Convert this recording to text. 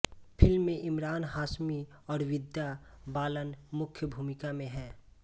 film में इमरान हाशमी और विद्या बालन मुख्य भूमिका में हैं